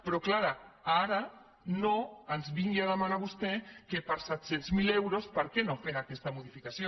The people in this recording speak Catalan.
però és clar ara no ens vingui a demanar vostè que per set cents miler euros per què no fem aquesta modificació